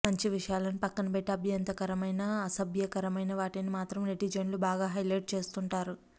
మంచి విషయాలను పక్కనపెట్టి అభ్యంతరకరమైన అసభ్యకరమైన వాటిని మాత్రం నెటిజన్లు బాగా హైలైట్ చేస్తుంటారు